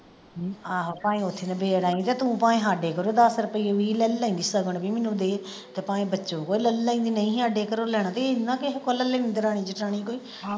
ਆਹੋ ਭਾਵੇਂ ਓਥੇ ਨਿਬੇੜ ਆਈ ਤੇ ਤੂੰ ਭਾਵੇ ਹਾਡੇ ਕੋਲੋਂ ਦੱਸ ਰੁਪਏ ਵੀਹ ਲੈ ਲੈਂਦੀ ਸਗਨ ਬੀ ਮੈਨੂੰ ਦੇ ਤੇ ਭਾਵੇਂ ਬਚੋਂ ਕੋ ਲੈ ਲੈਂਦੀ ਨਹੀਂ ਸੀ ਹਾਡੇ ਘਰੋਂ ਲੈਣਾ ਤੇ ਇਹਨਾਂ ਕਿਸੇ ਕੋਲੋਂ ਲੈ ਲੈਂਦੀ ਦਰਾਣੀ ਜਠਾਣੀ ਕੋ ਹੀ।